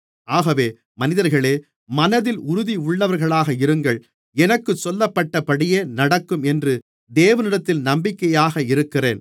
ஆகவே மனிதர்களே மனதில் உறுதியுள்ளவர்களாக இருங்கள் எனக்குச் சொல்லப்பட்டபடியே நடக்கும் என்று தேவனிடத்தில் நம்பிக்கையாக இருக்கிறேன்